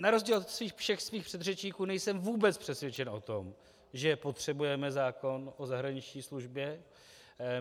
Na rozdíl od svých všech předřečníků nejsem vůbec přesvědčen o tom, že potřebujeme zákon o zahraniční službě.